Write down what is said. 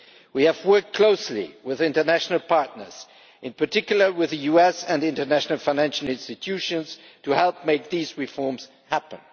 We have worked closely with international partners in particular with the US and international financial institutions to help make these reforms happen.